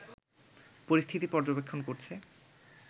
পরিস্থিতি পর্যবেক্ষণ করছে